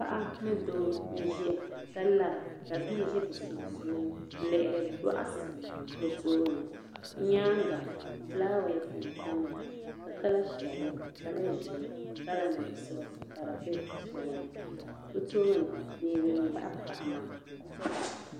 Paɣa ni doo n ʒiya ka lara kbii ʒi bi sun suuni, n lihiri bɔkati bɛ tooni, bɛ nyaaŋa flawese n tamya, kala piɛli, kala ʒɛɛ kala nuɣusɔ, ka di be di puuni, bɛ tooni beni n baɣi, paɣa maa.